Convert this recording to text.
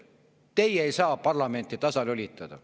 Teie ei saa parlamenti tasalülitada.